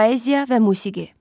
Poeziya və musiqi.